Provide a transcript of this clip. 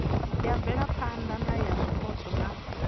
ya mvelaphana ya zwipotso na